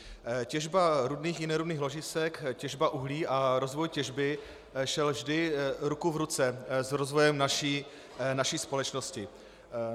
Těžba rudných i nerudných ložisek, těžba uhlí a rozvoj těžby šely vždy ruku v ruce s rozvojem naší společnosti.